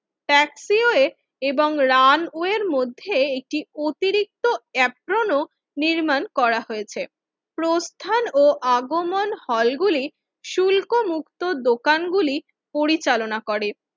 taxi ওয়েএবং runway এর মধ্যে একটি অতিরিক্ত অ্যাপ্রোন নির্মাণ করা হয়েছে প্রস্তান ও আগমন হল গুলি শুল্কমুক্ত দোকানগুলি পরিচালনা করে